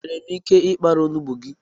Enwèrè m ike I kpara onugbu gị?